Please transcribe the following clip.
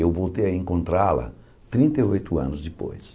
Eu voltei a encontrá-la trinta e oito anos depois.